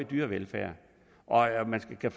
dyrevelfærd og at man skal